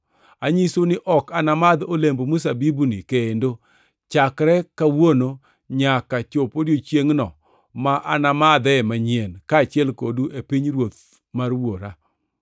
Anyisou ni ok anamadh olemb mzabibuni kendo, chakre kawuono nyaka chop odiechiengʼno ma anamadhee manyien, kaachiel kodu, e pinyruoth mar Wuora.”